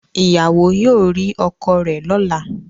Ìyàwó yóò rí ọkọ rẹ̀ lọ́la